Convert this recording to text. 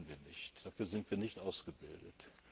Das können wir nicht, dafür sind wir nicht ausgebildet.